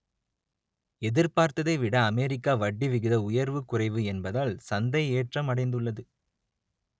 எதிர்பார்த்ததை விட அமெரிக்க வட்டி விகித உயர்வு குறைவு என்பதால் சந்தை ஏற்றம் அடைந்துள்ளது